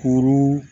Kuru